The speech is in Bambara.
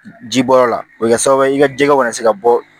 Ji bɔyɔrɔ la o bɛ kɛ sababu ye i ka jɛgɛw ka na se ka bɔ